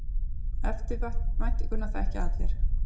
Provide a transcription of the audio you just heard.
Eftirvæntinguna þekkja allir.